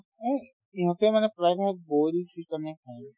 উম, ইহঁতে মানে প্ৰায়ভাগ boil chicken য়ে খায়